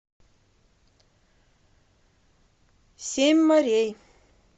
семь морей